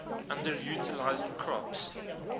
underutilized crops